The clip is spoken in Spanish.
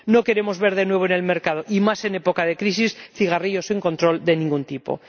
No queremos ver de nuevo en el mercado, y menos en época de crisis, cigarrillos sin control de ningún tipo.